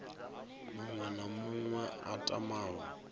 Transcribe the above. muṅwe na muṅwe a tamaho